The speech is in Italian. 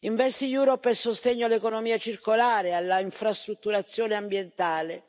InvestEU è sostegno all'economia circolare, all'infrastrutturazione ambientale.